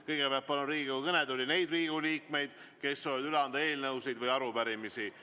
Kõigepealt palun Riigikogu kõnetooli neid Riigikogu liikmeid, kes soovivad üle anda eelnõusid või arupärimisi.